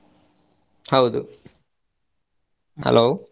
ಹೌದು hello .